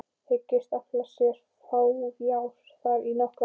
Hyggst afla sér fjár þar í nokkra mánuði.